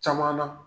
Caman na